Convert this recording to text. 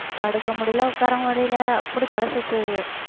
படுக்க முடியலை உட்கார முடியலை அப்படி தலை சுத்துது